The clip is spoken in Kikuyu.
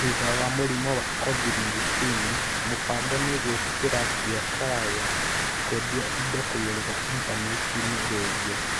Thutha wa mũrimũ wa COVID-19, mũbango nĩ gwĩkĩra biacara ya kwendia indo kũgerera intaneti-nĩ rĩngĩ.